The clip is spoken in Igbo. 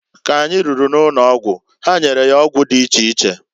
K'anyi ruru n'ụnọgwụ ha nyere ya ọgwụ dị iche iche.